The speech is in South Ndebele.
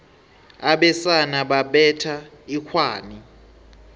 abesana babetha inghwani